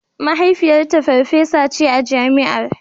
Mahaifiyarta farfesa ce a Jami'ar.